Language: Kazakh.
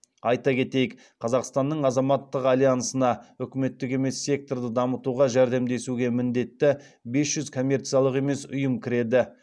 айта кетейік қазақстанның азаматтық альянсына үкіметтік емес секторды дамытуға жәрдемдесуге міндетті бес жүз коммерциялық емес ұйым кіреді